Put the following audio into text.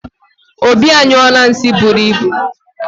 Obi anyụọla nsi buru ịbụ